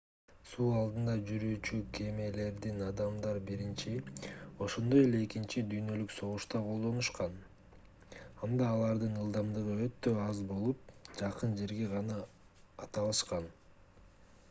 суу алдында жүрүүчү кемелерди адамдар биринчи ошондой эле экинчи дүйнөлүк согушта колдонушкан анда алардын ылдамдыгы өтө аз болуп жакын жерге гана ата алышкан